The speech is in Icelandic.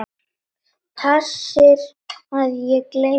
Passir að ég gleymi engu.